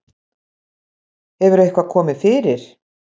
Hefur eitthvað komið fyrir?